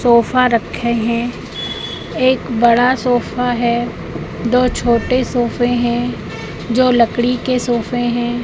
Sofa रखे हैं एक बड़ा सोफा है दो छोटे सोफे हैं जो लकड़ी के सोफे हैं।